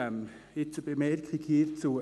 Jetzt eine Bemerkung hierzu: